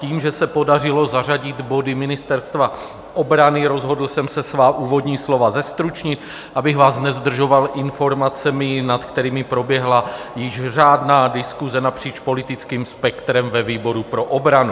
Tím, že se podařilo zařadit body Ministerstva obrany, rozhodl jsem se svá úvodní slova zestručnit, abych vás nezdržoval informacemi, nad kterými proběhla již řádná diskuse napříč politickým spektrem ve výboru pro obranu.